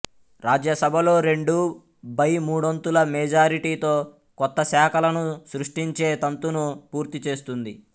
రాజ్యసభలో రెండూ బై మూడొంతుల మెజారిటీతో కొత్త శాఖలను సృష్టించే తంతును పూర్తి చేస్తుంది